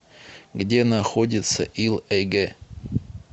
где находится ил эйгэ